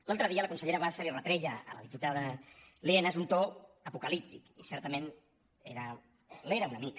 l’altre dia la consellera bassa li retreia a la diputada lienas un to apocalíptic i certament l’era una mica